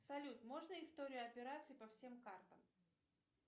салют можно историю операций по всем картам